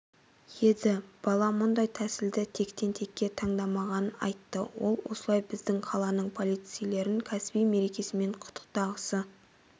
еді бала мұндай тәсілді тектен-текке таңдамағанын айтты ол осылай біздің қаланың полицейлерін кәсіби мерекесімен құттықтағысы